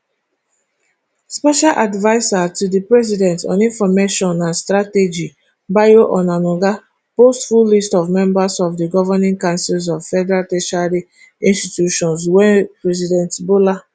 special adviser to di president on information and strategybayo onanuga post full listof members of di governing councils of federal tertiary institutions wey president bola